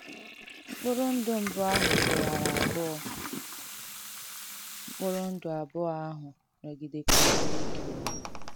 M̀kpùrụ̀ ndụ̀ mbụ̀ àhụ̀ kèwàrà àbùọ̀, m̀kpùrụ̀ ndụ̀ àbùọ̀ àhụ̀ nọ̀gìdēkwàrà na-èkēwà.